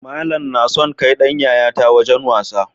Malan nason kai Dan yayata wajan wasa